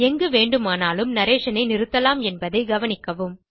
எங்குவேண்டுமானால் narration ஐ நிறுத்தலாம் என்பதை கவனிக்கவும்